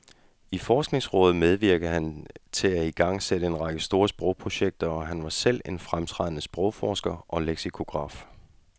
I forskningsrådet medvirkede han til at igangsætte en række store sprogprojekter, og han var selv en fremtrædende sprogforsker og leksikograf.